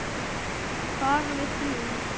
Bara við þrjú.